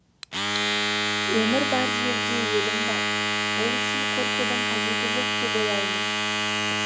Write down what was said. өмір бар жерде өлім бар ол үшін қорқудың қажеті жоқ деп ойлаймын